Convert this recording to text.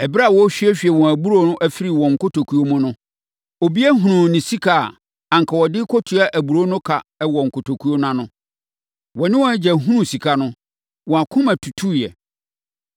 Ɛberɛ a wɔrehwiehwie wɔn aburoo no afiri wɔn nkotokuo no mu no, obiara hunuu ne sika a anka ɔde rekɔtua aburoo no ka wɔ ne kotokuo no ano. Wɔne wɔn agya hunuu sika no, wɔn akoma tutuiɛ.